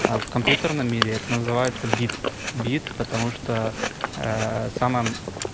а в компьютерном мире это называется бит бит потому что самым